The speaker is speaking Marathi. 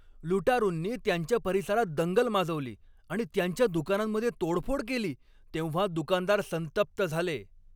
लुटारूंनी त्यांच्या परिसरात दंगल माजवली आणि त्यांच्या दुकानांमध्ये तोडफोड केली तेव्हा दुकानदार संतप्त झाले.